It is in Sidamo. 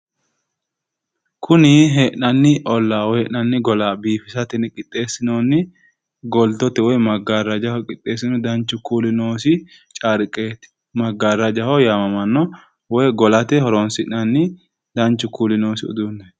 Kuni hee'nanni ollaa woy hee'nanni gola biifisate yine qixxeessinoonni goltote woyi magaarrajaho qixxeessinoyi danchu kuuli noosi carqeeti maggaarrajaho yaamamanno woy golate horonsi'nanni danchu kuuli noosi uduunneeti.